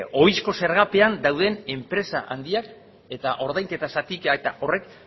ohizko zergapean dauden enpresa handiak eta ordainketa zatiketa horrek